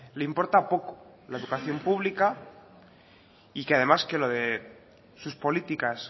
le importa poco la educación pública y que además que lo de sus políticas